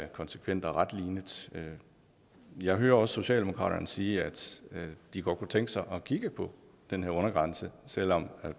konsekvent og retlinet jeg hører også socialdemokratiet sige at de godt kunne tænke sig at kigge på den undergrænse selv om